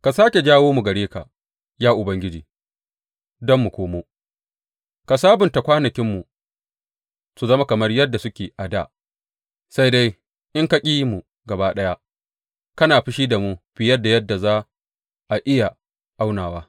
Ka sāke jawo mu gare ka, ya Ubangiji, don mu komo; ka sabunta kwanakinmu su zama kamar yadda suke a dā sai dai in ka ƙi mu gaba ɗaya kana fushi da mu fiye da yadda za a iya aunawa.